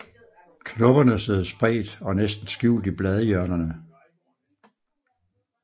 Knopperne sidder spredt og næsten skjult i bladhjørnerne